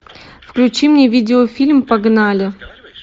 включи мне видеофильм погнали